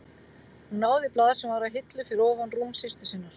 Hún náði í blað sem var á hillu fyrir ofan rúm systur sinnar.